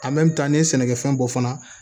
n'i ye sɛnɛkɛfɛn bɔ fana